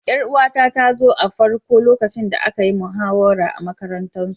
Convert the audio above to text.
Yar'uwa ta ta zo farko lokacin da an yi muhawara a'makarantan su.